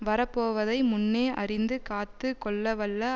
வரப்போவதை முன்னே அறிந்து காத்து கொள்ளவல்ல